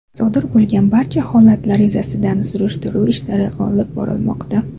Sodir bo‘lgan barcha holatlar yuzasidan surishtiruv ishlari olib borilmoqda.